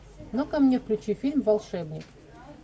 ну ка мне включи фильм волшебник